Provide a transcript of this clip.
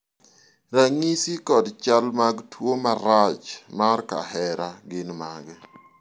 ranyisi kod chal mag tuo marach mar kahera gin mage?